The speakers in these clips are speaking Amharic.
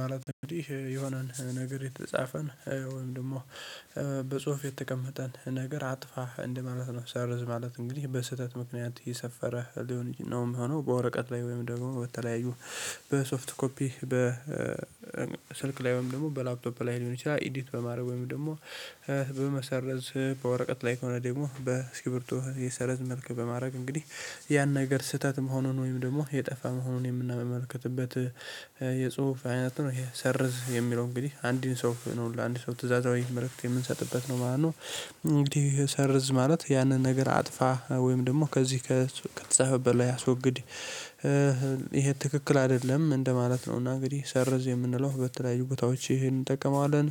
ማለት እንግዲህ የሆነን ነገር የተጻፈን ወይም ደግሞ በጽሁፍ የተቀመጠን ነገር አጥፋ እንደማለት ነው ሰርዝ ማለት እንግዲህ በስህተት ምክንያት የሰፈረ ሊሆን ነው የምሆነው በወረቀት ላይ ወይም ደግሞ በተለያዩ በሶፍት ኮፒ በ ስልክ ላይ ወይም ደግሞ በላፕቶፕ ላይ ሊሆን ይችላል ኢዲት በማድረግ ወይም ደግሞ በመሰረዝ በወረቀት ላይ ከሆነ ደግሞ በስኪርብቶ የሰረዝ መልክ በማድረግ እንግዲህ ያን ነገር ስህተት መሆኑን ወይም ደግሞ የጠፋ መሆኑን የምናመለከትበት የጽሁፍ አይነት ነው። ይሄ ሰርዝ የሚለው እንግዲህ አንድን ሰው ነው ለአንድ ሰው ትእዛዛዊ መልእክት የምንሰጥበት ነው ማለት ነው። እንግዲህ ሰርዝ ማለት ያንን ነገር አጥፋ ወይም ደግሞ ከዚህ ከተጻፈበት ላይ አስወግድ ይሄ ትክክል አይደለም እንደማለት ነው። እና እንግዲህ ሰርዝ የምንለው በተለይ ቦታዎች ይሄን እንጠቀማለን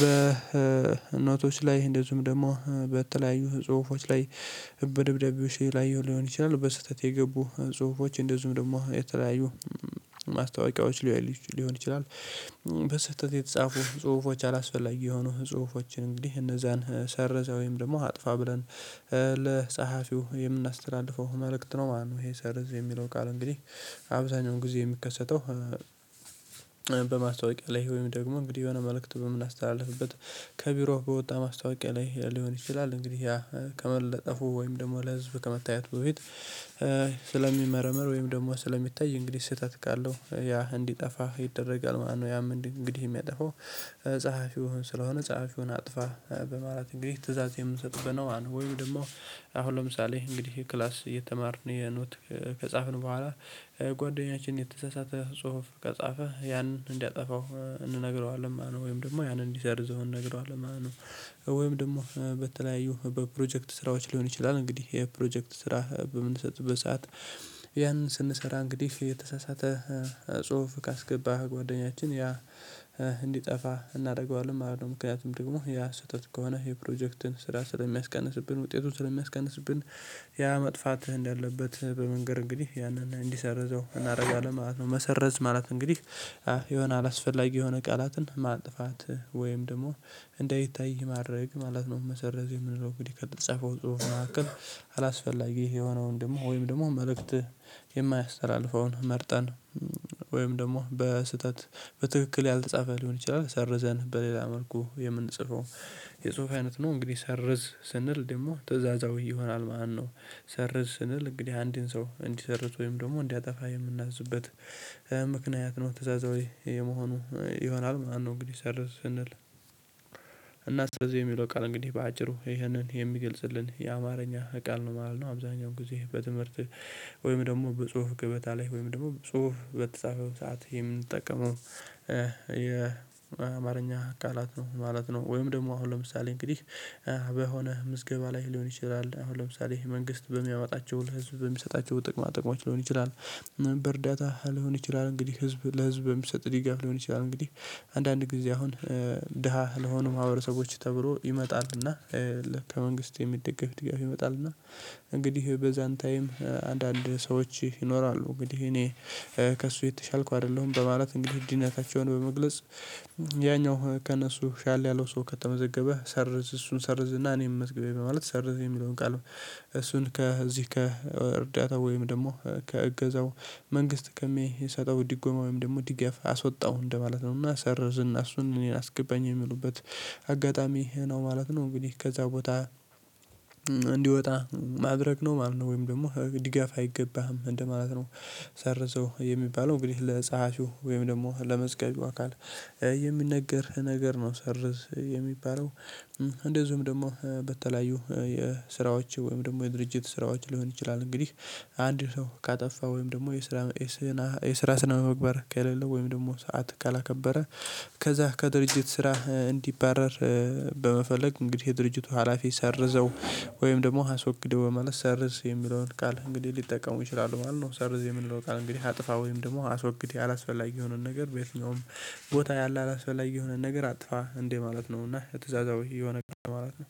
በእናቶች ላይ እንደዚሁም ደግሞ በተለያዩ ጽሁፎች ላይ በደብዳቤው ላይ ሊሆን ይችላል። በስህተት የገቡ ጽሁፎች እንደዚሁም ደግሞ የተለያዩ ማስታወቂያዎች ሊሆን ይችላል በስህተት የተጻፉ ጽሁፎች አላስፈላጊ የሆኑ ጽሁፎችን እንግዲህ እነዛን ሰርዘው ወይም ደግሞ አጥፋ ብለን ለጸሀፊው የምናስተዳድፈው መልእክት ነው። ማነው ይሄ ሰርዝ የሚለው ቃል እንግዲህ አብዛኛውን ጊዜ የሚከሰተው በማስታወቂያ ላይ ወይም ደግሞ እንግዲህ የሆነ መልእክት በምናስተላልፍበት ከቢሮ በወጣ ማስታወቂያ ላይ ሊሆን ይችላል። እንግዲህ ያ ከመለጠፉ ወይም ደግሞ ለህዝብ ከመታየቱ በፊት ስለሚመረመር ወይም ደግሞ ስለሚታይ እንግዲህ ስህተት ካለው ያ እንዲጠፋ ይደረጋል ማለት ነው። ያም እንግዲህ የሚያጠፋው ፀሀፊው ስለሆነ ፀሀፊውን አጥፋ በማለት እንግዲ ትእዛዝ የምንሰጥበት ነው። ወይም ደግሞ አሁን ለምሳሌ እንግዲህ ክላስ እየተማርን የኖት ከጻፍን በኋላ ጓደኛችን የተሳሳተ ጽሁፍ ከጻፈ ያንን እንዲያጠፋው እንነግረዋለን ማነው ወይም ደግሞ ያንን እንዲሰርዘው ነግረዋለህ ማለት ነው። ወይም ደግሞ በተለያዩ በፕሮጀክት ስራዎች ሊሆን ይችላል እንግዲህ የፕሮጀክት ስራ በምንሰጥ በሰአት ያንን ስንሰራ እንግዲህ የተሳሳተ ጽሁፍ ካስገባህ ጓደኛችን ያ እንዲጠፋ እናደርገዋለን ማለት ነው። ደግሞ ያ ስህተት ከሆነ የፕሮጀክትን ስራ ስለሚያስቀንስብን ውጤቱን ስለሚያስቀንስብን ያ መጥፋትህ እንዳለበት በመንገር እንግዲህ ያንን እንዲሰርዘው እናደርጋለን ማለት ነው። መሰረዝ ማለት እንግዲህ የሆነ አላስፈላጊ የሆነ ቃላትን ማጥፋት ወይም ደግሞ እንደይታይ ማድረግ ማለት ነው። መሰረዝ የምንለው እንግዲህ ከጸፈው ጽሁፍ መካከል አላስፈላጊ የሆነውን ደግሞ ወይም ደግሞ መልእክት የማያስተላልፈውን መርጠን ወይም ደግሞ በስህተት በትክክል ያልተጻፈ ሊሆን ይችላል ሰርዘን በሌላ መልኩ የምንጽፈው የጽሁፍ አይነት ነው። እንግዲህ ሰርዝ ስንል ደግሞ ትእዛዛዊ ይሆናል ማነው ሰርዝ ስንል እንግዲህ አንድን ሰው እንዲሰርት ወይም ደግሞ እንዲያጠፋ የምናዝበት ምክንያት ነው። ተሳሳቢ የመሆኑ ይሆናል ማነው እንግዲህ ሰርዝ ስንል እና ሰርዝ የሚለው ቃል እንግዲህ በአጭሩ ይህንን የሚገልጽልን የአማርኛ ቃል ነው ማለት ነው። አብዛኛው ጊዜ በትምህርት ወይም ደግሞ በጽሁፍ ገበታ ላይ ወይም ደግሞ ጽሁፍ በተጻፈው ሰዓት የምንጠቀመው የአማርኛ ቃላት ነው ማለት ነው። ወይም ደግሞ አሁን ለምሳሌ እንግዲህ በሆነ ምዝገባ ላይ ሊሆን ይችላል አሁን ለምሳሌ መንግስት በሚያወጣቸው ለህዝብ በሚሰጣቸው ጥቅማ ጥቅማችን ሊሆን ይችላል ምን በእርዳታ ሊሆን ይችላል እንግዲህ ህዝብ ለህዝብ የሚሰጥ ሊጋ ሊሆን ይችላል። እንግዲህ አንዳንድ ጊዜ አሁን ድሃ ለሆኑ ማህበረሰቦች ተብሎ ይመጣልና ከመንግስት የሚደገፍ ድጋፍ ይመጣልና። እንግዲህ በዛን ታይም አንዳንድ ሰዎች ይኖራሉ እንግዲህ እኔ ከእሱ የተሻልኩ አይደለሁም። በማለት እንግዲህ እድሜያቸውን በመግለጽ ያኛው ከእነሱ ሻል ያለው ሰው ከተመዘገበ ሰርዝ እሱን እና እኔም መስገቤ በማለት ሰርዝ የሚለውን ቃል እሱን ከዚህ ከእርዳታ ወይም ደግሞ ከእገዛው መንግስት ከሚሰጠው ድጎማ ወይም ደግሞ ድገፍ አስወጣው እንደማለት ነው። እና ሰርዝና እሱን እኔን አስገባኝ የሚሉበት አጋጣሚ ነው ማለት ነው። እንግዲህ ከዛ ቦታ እንዲወጣ ማድረግ ነው ማለት ነው። ወይም ደግሞ ድጋፍ አይገባህም እንደማለት ነው። ሰርዘው የሚባለው እንግዲህ ለፀሀሹ ወይም ደግሞ ለመዝገቢው አካል የሚነገር ነገር ነው። ሰርዝ የሚባለው እንደዚሁም ደግሞ በተለያዩ የስራዎች ወይም ደግሞ የድርጅት ስራዎች ሊሆን ይችላል። እንግዲህ አንድ ሰው ካጠፋ ወይም ደግሞ የስራ የስራ ስነ ምግባር ከሌለው ወይም ደግሞ ሰዓት ካላከበረ ከዛ ከድርጅት ስራህ እንዲባረር እንግዲህ የድርጅቱ ሀላፊ ሰርዘው ወይም ደግሞ አስወግደው በማለት ሰርዝ የሚለውን ቃል እንግዲህ ሊጠቀሙ ይችላሉ ማለት ነው። ሰርዝ የሚለው ቃል እንግዲህ አጥፋ ወይም ደግሞ አስወግድ አላስፈላጊ የሆነን ነገር በየትኛውም ቦታ ያለ አላስበላይ የሆነ ነገር አጥፋ እንዴ ማለት ነው። እና ትእዛዛዊ የሆነ ቀን ማለት ነው።